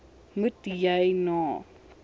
moet jy na